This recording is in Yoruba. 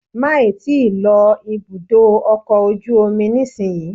Máì tí ì lọ ibùdó ọkọ̀ ojú omi nísinyí